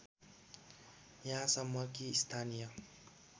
यहाँसम्म कि स्थानीय